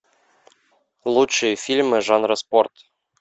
лучшие фильмы жанра спорт